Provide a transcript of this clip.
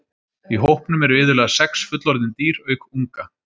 Í hópnum eru iðulega sex fullorðin dýr auk unga.